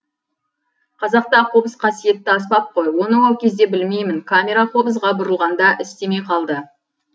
қазақта қобыз қасиетті аспап қой оны ол кезде білмеймін камера қобызға бұрылғанда істемей қалды